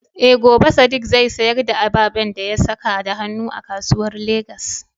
Eh, gobe Sadiq zai sayar da ababen da ya saka da hannu a kasuwan Legas.